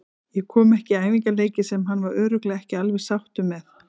Ég kom ekki í æfingaleiki sem hann var örugglega ekki alveg sáttur með.